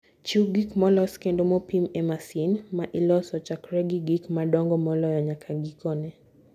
Chiw gik molos kendo mopim e masin ma iloso, chakre gi gik madongo moloyo nyaka gikone